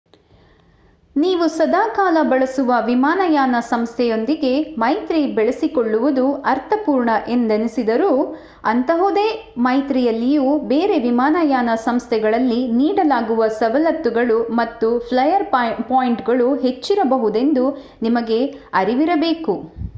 ನೀವು ಸದಾಕಾಲ ಬಳಸುವ ವಿಮಾನಯಾನ ಸಂಸ್ಥೆಯೊಂದಿಗೇ ಮೈತ್ರಿ ಬೆಳೆಸಿಕೊಳ್ಳುವುದು ಅರ್ಥಪೂರ್ಣ ಎಂದೆನಿಸಿದರೂ ಅಂಥಹುದೇ ಮೈತ್ರಿಯಲ್ಲಿಯೂ ಬೇರೆ ವಿಮಾನಯಾನ ಸಂಸ್ಥೆಗಳಲ್ಲಿ ನೀಡಲಾಗುವ ಸವಲತ್ತುಗಳು ಮತ್ತು ಫ್ಲಯರ್ ಪಾಯಿಂಟುಗಳು ಹೆಚ್ಚಿರಬಹುದೆಂದು ನಿಮಗೆ ಅರಿವಿರಬೇಕು